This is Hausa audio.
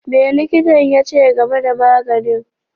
Me likitan ya ce game da maganin?